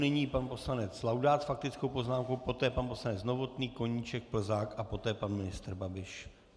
Nyní pan poslanec Laudát s faktickou poznámkou, poté pan poslanec Novotný, Koníček, Plzák a poté pan ministr Babiš.